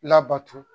Labato